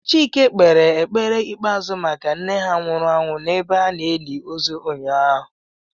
Chike kpere ekpere ikpeazu maka nne ha nwuru anwu n'ebe a na-eli ozu ụnyaahụ